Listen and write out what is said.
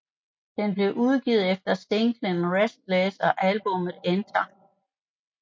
Den blev udgivet efter singlen Restless og albummet Enter